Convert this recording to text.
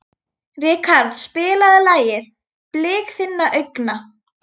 Ríkharð, spilaðu lagið „Blik þinna augna“.